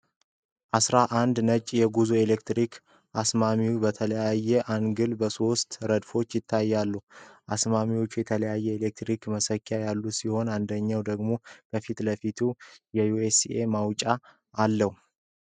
አስራ አንድ ነጭ የጉዞ ኤሌክትሪክ አስማሚዎች በተለያየ አንግልና በሶስት ረድፎች ይታያሉ። አስማሚዎቹ የተለያዩ የኤሌክትሪክ መሰኪያዎች ያሉት ሲሆን፣ አንድኛው ደግሞ ከፊት ለፊት የዩኤስ መውጫ አለው።